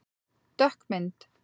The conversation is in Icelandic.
Dökk mynd